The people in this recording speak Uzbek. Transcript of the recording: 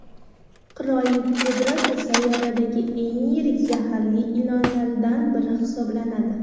Qirollik kobrasi sayyoradagi eng yirik zaharli ilonlardan biri hisoblanadi .